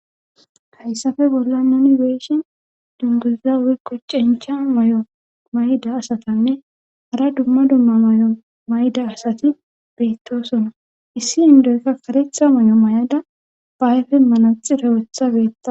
hayssafe bolla noni weeshin dunguzza wuiqo cencha may7o mayda asatanne hara dumma dumma may7o mayda asati beettosona issi indoykka karetha may7o may7ada bayfe manaxirowetha betta